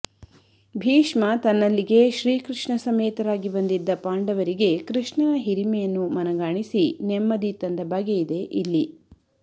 ಭೀಷ್ಮ ತನ್ನಲ್ಲಿಗೆ ಶ್ರೀ ಕೃಷ್ಣ ಸಮೇತರಾಗಿ ಬಂದಿದ್ದ ಪಾಂಡವರಿಗೆ ಕೃಷ್ಣನ ಹಿರಿಮೆಯನ್ನು ಮನಗಾಣಿಸಿ ನೆಮ್ಮದಿ ತಂದ ಬಗೆಯಿದೆ ಇಲ್ಲಿ